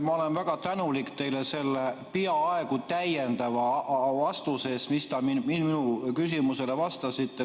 Ma olen väga tänulik teile selle peaaegu täiendava vastuse eest, mis te minu küsimusele andsite.